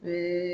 Ni